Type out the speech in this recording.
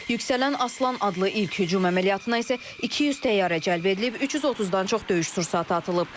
Yüksələn Aslan adlı ilk hücum əməliyyatına isə 200 təyyarə cəlb edilib, 330-dan çox döyüş sursatı atılıb.